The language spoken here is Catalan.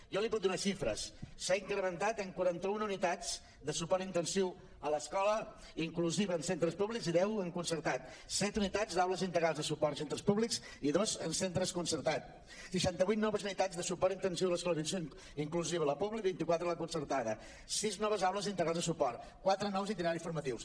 jo li puc donar xifres s’ha incrementat en quaranta un unitats de suport intensiu a l’escola inclusiva en centres públics i deu en concer·tats set unitats d’aules integrals de suport als centres públics i dos en centres concertats seixanta vuit noves unitats de suport intensiu a l’escola inclusiva a la pública i vint quatre a la concer·tada sis noves aules integrals de suport quatre nous itineraris formatius